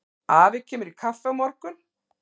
Afi kemur í kaffi á morgun.